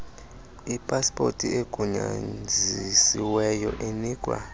ipaspoti egunyazisiweyo inikwa